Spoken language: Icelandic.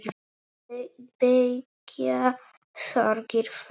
Beygja sorgir flesta.